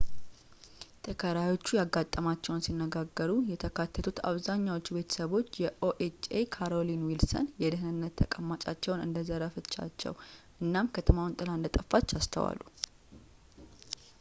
ተከራዮቹ ያጋጠማቸውን ሲነጋገሩ የተካተቱት አብዛኛዎቹ ቤተሰቦች የኦኤችኤ ካሮሊይን ዊልሰን የደህንነት ተቀማጫቸውን እንደዘረፈች እናም ከተማ ጥላ እንደጠፋች በድንገት አስተዋሉ